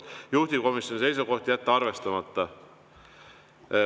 Juhtivkomisjoni seisukoht: jätta arvestamata.